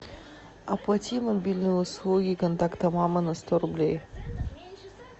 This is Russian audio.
оплати мобильные услуги контакта мама на сто рублей